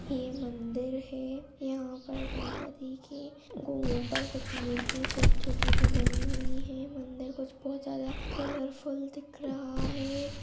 ये मंदिर है यहां पर गणपति की गुं ऊपर कुछ मूर्ति छोटी-छोटी सी बनी हुईं हैं मंदिर कुछ बहोत जादा कलरफुल दिख रहा है।